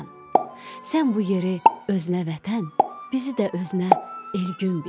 Sən bu yeri özünə vətən, bizi də özünə Elgün bil.